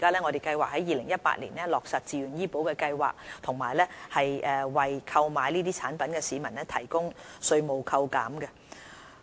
我們計劃在2018年落實自願醫保計劃，以及為購買相關產品的市民提供稅務扣減。